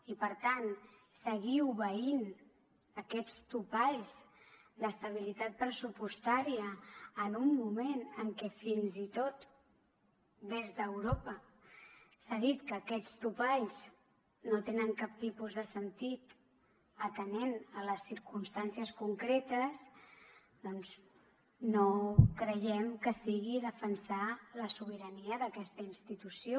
i per tant seguir obeint aquests topalls d’estabilitat pressupostària en un moment en què fins i tot des d’europa s’ha dit que aquests topalls no tenen cap tipus de sentit atenent les circumstàncies concretes doncs no creiem que sigui defensar la sobirania d’aquesta institució